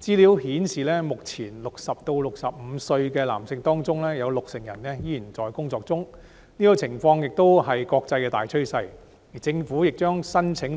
資料顯示，目前60歲至65歲的男性中有六成人仍然在職，這種情況亦是國際大趨勢，而政府亦將